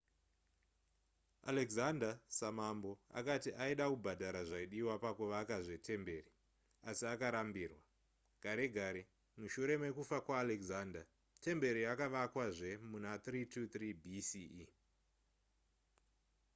alexander samambo akati aida kubhadhara zvaidiwa pakuvakazve temberi asi akarambirwa gare gare mushure mekufa kwaalexander temberi yakavakwazve muna 323 bce